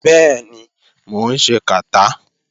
Bẹ́ẹ̀ni, mò ń ṣe kàtá.